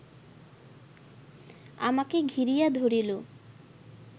আমাকে ঘিরিয়া ধরিল